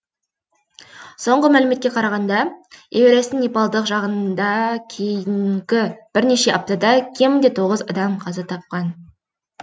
соңғы мәліметке қарағанда эверестің непалдық жағында кейінгі бірнеше аптада кемінде тоғыз адам қаза тапқан